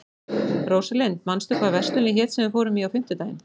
Rósalind, manstu hvað verslunin hét sem við fórum í á fimmtudaginn?